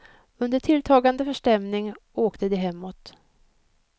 Under tilltagande förstämning åkte de hemåt.